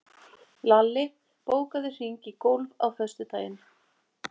Lalli, bókaðu hring í golf á föstudaginn.